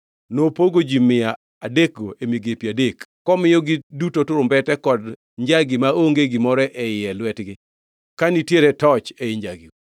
Nopogo ji mia adekgo e migepe adek, komiyogi duto turumbete kod njagi maonge gimoro e iye e lwetgi, ka nitiere toch ei njagigo.